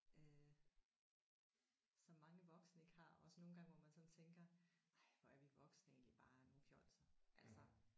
Øh som mange voksne ikke har også nogle gange hvor man sådan tænker ej hvor er vi voksne egentlig bare nogle fjolser altså